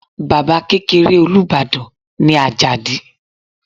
Baba kekere Olubadan ni Ajadi